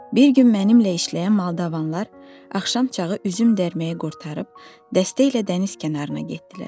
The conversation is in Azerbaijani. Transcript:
Bir gün mənimlə işləyən moldavanlar axşam çağı üzüm dərməyi qurtarıb, dəstə ilə dəniz kənarına getdilər.